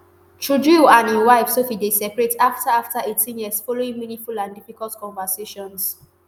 trudeau and im wife sophie dey separate afta afta eighteen years following meaningful and difficult conversations